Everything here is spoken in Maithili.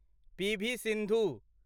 पी. वी. सिन्धु